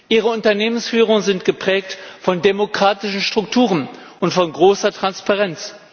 Ihre Unternehmensführungen sind geprägt von demokratischen Strukturen und von großer Transparenz.